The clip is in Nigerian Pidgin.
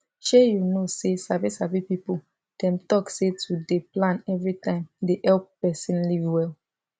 shey you know say sabi sabi people dem talk say to dey plan everytime dey help person live well